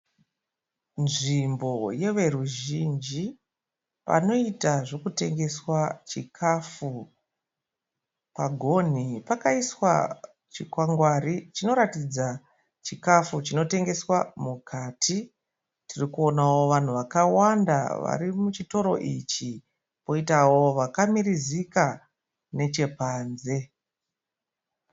Nzvimbo yeveruzhinji, panoita zvekutengeswa chikafu. Pagonhi pakaiswa chikwangwari chinoratidza chikafu chinotengeswa mukati . Tiri kuonawo vanhu vakawanda vari muchitoro ichi poitawo vakamirizika neche panze.